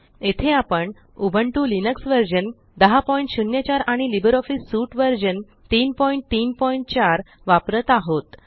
येथे आपण Ubuntu Linux version 1004 आणि लिब्रिऑफिस सूट व्हर्शन 334 वापरत आहोत